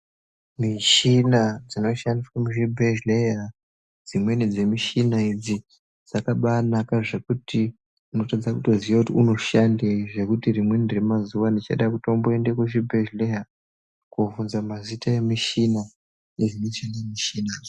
Mishina dzinoshandiswa muzvibhedhleya, dzimweni dzemishina idzi dzakabanaka zvekuti unotadza kutoziya kuti unoshandei, Zvekuti rimweni remazuwa ndichada kutomboende kuchibhedhleya kovhunza mazita emishina pamwechete nemishinadzo.